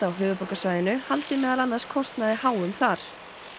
á höfuðborgarsvæðinu haldi meðal annars kostnaði háum þar